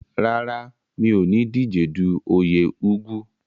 Rárá, mi ò ní díjedu oyè Igwu.